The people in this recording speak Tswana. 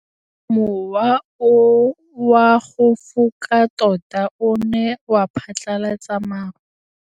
Mowa o wa go foka tota o ne wa phatlalatsa maru.